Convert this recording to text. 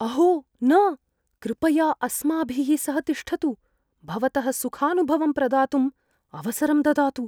अहो न... कृपया अस्माभिः सह तिष्ठतु, भवतः सुखानुभवम् प्रदातुम् अवसरं ददातु।